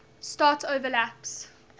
start overlaps